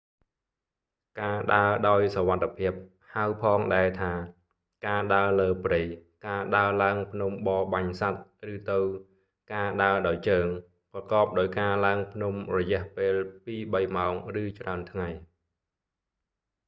ការដើរដោយសុវត្ថភាពហៅផងដែរថា ការដើរលើព្រៃ ការដើរឡើងភ្នំបរបាញ់សត្វ ឬទៅ ការដើរដោយជើង ប្រកបដោយការឡើងភ្នំរយះពេលពីរបីម៉ោងឬច្រើនថ្ងៃ។